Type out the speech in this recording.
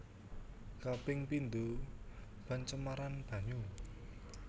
Kaping pindo pencemaran banyu